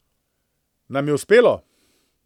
Nam je uspelo.